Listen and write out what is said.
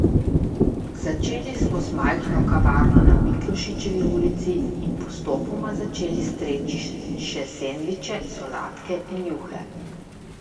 Začeli smo z majhno kavarno na Miklošičevi ulici in postopoma začeli streči še sendviče, solatke in juhe ...